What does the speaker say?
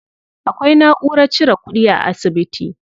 Akwai naʼurar cire kuɗi a asibiti.